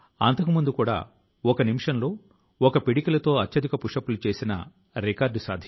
మన ప్రభుత్వ శాఖ లు కూడా పరిశుభ్రత వంటి అంశం పై చాలా వినూత్నం గా ఆలోచిస్తాయి